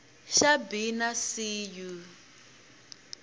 xa b na c u